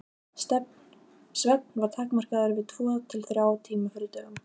Svefn var takmarkaður við tvo til þrjá tíma fyrir dögun.